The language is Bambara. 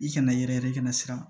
I kana yɛrɛ kɛnɛ siran